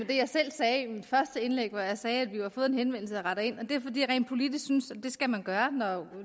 jeg selv sagde i mit første indlæg hvor jeg sagde at vi har fået en henvendelse og retter ind det er fordi jeg rent politisk synes at det skal man gøre